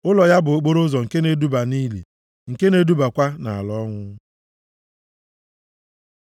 Ụlọ ya bụ okporoụzọ nke na-eduba nʼili, nke na-edubakwa nʼala ọnwụ.